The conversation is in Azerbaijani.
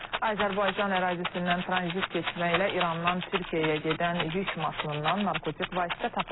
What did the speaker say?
Azərbaycan ərazisindən tranzit keçməklə İrandan Türkiyəyə gedən yük maşınından narkotik vasitə tapılıb.